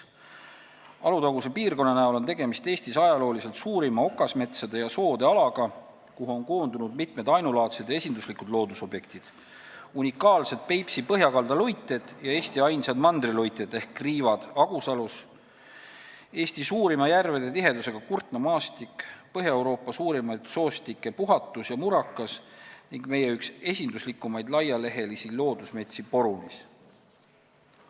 Alutaguse piirkonna puhul on tegemist Eesti ajalooliselt suurima okasmetsade ja soode alaga, kuhu on koondunud ainulaadsed ja esinduslikud loodusobjektid: unikaalsed Peipsi põhjakalda luited, Eesti ainsad mandriluited ehk kriivad Agusalus, Eesti suurima järvede tihedusega Kurtna maastik, Põhja-Euroopa suurimaid soostikke Puhatus ja Murakas ning meie üks esinduslikumaid laialehelisi loodusmetsi Porunis.